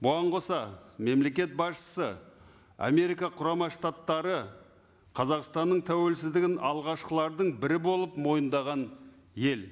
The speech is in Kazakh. бұған қоса мемлекет басшысы америка құрама штаттары қазақстанның тәуелсіздігін алғашқылардың бірі болып мойындаған ел